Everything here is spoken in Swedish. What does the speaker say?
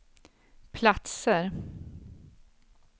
platser